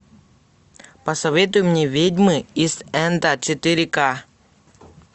посоветуй мне ведьмы ист энда четыре к